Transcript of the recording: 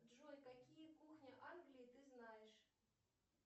джой какие кухни англии ты знаешь